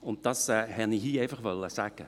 Dies wollte ich hier einfach sagen.